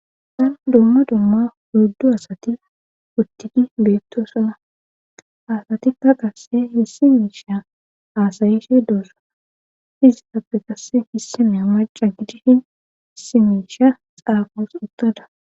San dumma dumma hurdu asati uttigi beettosona asatikka qasse hissi miisha aasayishe duosa fiziappe qasse hissine maca gidishin hsimiisha xaaqos uttada.